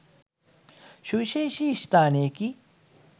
සුවිශේෂ ස්ථානයකි.